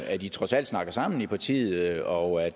at i trods alt snakker sammen i partiet og